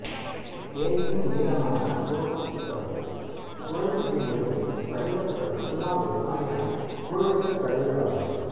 தேகியும் நீளமான குறுக்குத்துளைக் குழல் பிரி உருளை வடிவக் குழல் புல்லாங்குழல் ஆகியன குழலிசைக் கருவிகள் ஆகும்